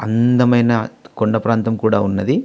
అందమైన కొండ ప్రాంతం కూడా ఉన్నది